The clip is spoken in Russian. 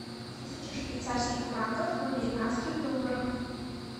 тысяча швейцарских франков в американских долларах